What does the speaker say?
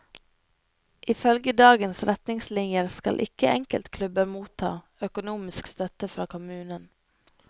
Ifølge dagens retningslinjer skal ikke enkeltklubber motta økonomisk støtte fra kommunen.